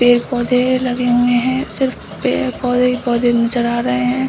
पेड़ पोधे हैं लगे हुए हैं। सिर्फ पेड़- पोधे ही पोधे नजर आ रहे हैं।